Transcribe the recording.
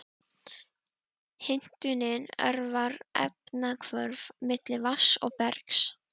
Hitnunin örvar efnahvörf milli vatns og bergs.